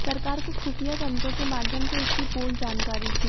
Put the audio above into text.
सरकार को खुफ़िया तंत्रों के माध्यम से इसकी पूर्ण जानकारी थी